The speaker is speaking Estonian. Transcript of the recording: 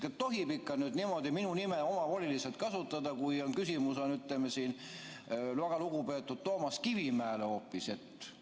Kas tohib ikka niimoodi minu nime omavoliliselt kasutada, kui on küsimus väga lugupeetud Toomas Kivimäele hoopis?